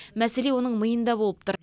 мәселе оның миында болып тұр